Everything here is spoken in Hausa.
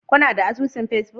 Kuna da asusun Facebook